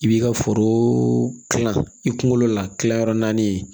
I b'i ka foro kilan i kunkolo la kilayɔrɔ naani ye